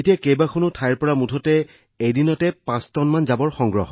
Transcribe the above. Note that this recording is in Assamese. অৰ্থাৎ আগতে আমি এবছৰত ৬৭ টা ক্লিনিং ড্ৰাইভ বা ১০ টা ক্লিনিং ড্ৰাইভ কৰিছিলো